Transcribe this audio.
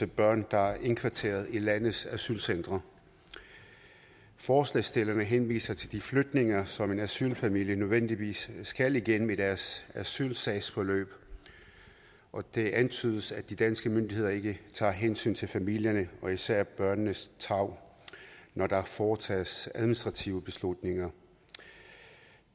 børn der er indkvarteret i landets asylcentre forslagsstillerne henviser til de flytninger som en asylfamilie nødvendigvis skal igennem i deres asylsagsforløb og det antydes at de danske myndigheder ikke tager hensyn til familierne og især til børnenes tarv når der foretages administrative beslutninger